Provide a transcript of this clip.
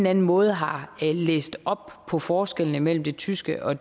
anden måde har læst op på forskellene mellem det tyske og